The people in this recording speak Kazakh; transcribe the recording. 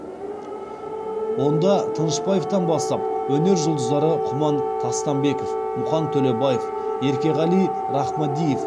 онда тынышпаевтан бастап өнер жұлдыздары құман тастанбеков мұқан төлеубаев еркеғали рахмадиев